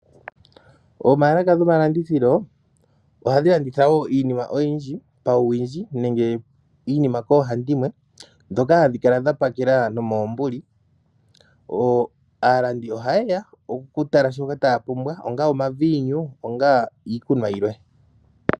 Oomaalaka gomalandithilo ohadhi landitha woo iimima oyindji pawuwindji nenge iinima pawuhandimwe dhoka hadhi kala dhapakela noomoombuli . Aalandi oha yeya okutala shoka taapumbwa, ongaa omaviinu, ongaa iikunwa yilwe.